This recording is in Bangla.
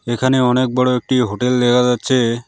এখানে অনেক বড়ো একটি হোটেল দেখা যাচ্ছে।